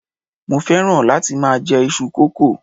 mo fẹràn láti ma je Isu koko